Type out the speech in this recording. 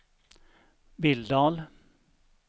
Billdal